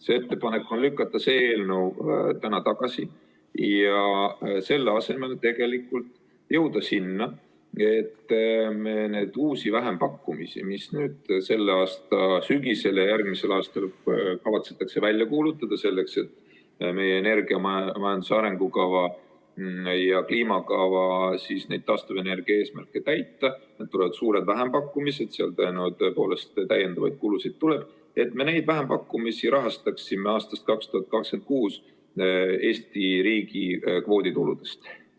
See ettepanek on lükata see eelnõu täna tagasi ja selle asemel jõuda sinna, et me neid uusi vähempakkumisi, mis selle aasta sügisel ja järgmisel aastal kavatsetakse välja kuulutada, selleks et meie energiamajanduse arengukava ja kliimakava taastuvenergia eesmärke täita – need tulevad suured vähempakkumised, seal tõepoolest täiendavaid kulusid tuleb –, rahastaksime aastast 2026 Eesti riigi kvoodituludest.